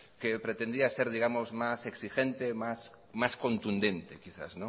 que pretendía ser digamos más exigente más contundente quizás